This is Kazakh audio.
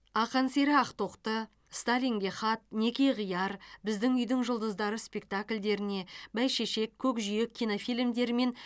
ақан сері ақтоқты сталинге хат неке қияр біздің үйдің жұлдыздары спектакльдеріне бәйшешек көкжиек кинофильмдері мен